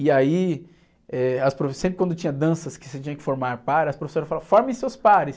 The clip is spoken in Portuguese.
E aí, eh, as profe, sempre quando tinha danças que você tinha que formar par, as professoras falavam, formem seus pares.